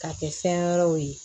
K'a kɛ fɛn wɛrɛw ye